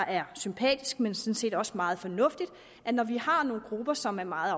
er sympatisk men sådan set også meget fornuftigt når vi har nogle grupper som er meget